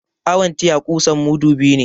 Awon tiya kusan mudu biyu ne